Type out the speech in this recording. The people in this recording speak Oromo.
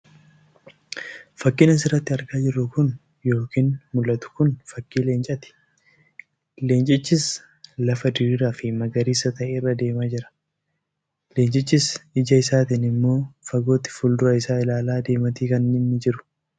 Fakkiin asirratti argaa jirru kun yookiin mul'atu Kun fakkiin Leencati. Leenchichis lafa diriiraafi magariisa ta'e irra deemaa jira. Leenchichis Ija isaatin immoo fagootti fuuldura isaa ilaalaa deemaati kan inni jiru.